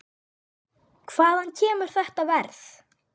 Hvaðan kemur þetta verð?